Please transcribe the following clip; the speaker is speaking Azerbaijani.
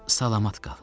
Salamat qal.